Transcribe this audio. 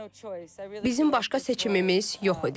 Bizim başqa seçimimiz yox idi.